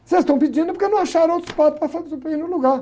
Se eles estão pedindo é porque não acharam outro padre para fa, para ir no lugar.